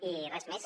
i res més